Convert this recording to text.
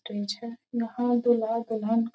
Stage है। यहाँ दूल्हा दुल्हन का--